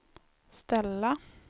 ställa